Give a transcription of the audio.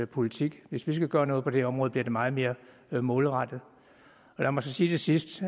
politik hvis vi skal gøre noget på det her område bliver det meget mere målrettet lad mig så sige til sidst